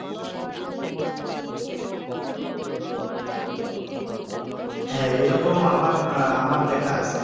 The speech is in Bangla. হাঁ এরকম আমার আমার দেখা আছে